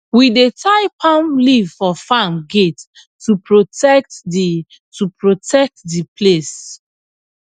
we dey tie palm leaf for farm gate to protect the to protect the place